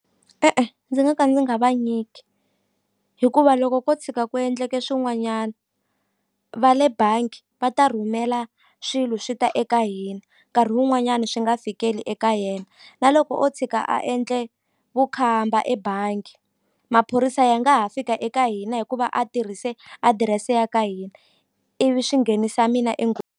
E-e ndzi nga ka ndzi nga va nyiki hikuva loko ko tshika ku endleke swin'wanyani va le bangi va ta rhumela swilo swi ta eka hina nkarhi wun'wanyani swi nga fikeli eka yena na loko o tshika a endle vukhamba ebangi maphorisa ya nga ha fika eka hina hikuva a tirhise adirese ya ka hina ivi swi nghenisa mina .